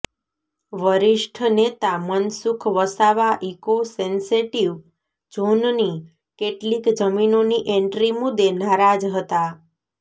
વરિષ્ઠ નેતા Mansukh Vasava eco sensitive ઝોનની કેટલીક જમીનોની એન્ટ્રી મુદ્દે નારાજ હતા